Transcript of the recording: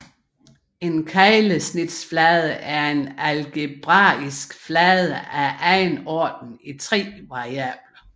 En keglesnitsflade er en algebraisk flade af anden orden i tre variable